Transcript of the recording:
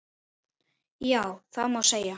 Já, það má segja.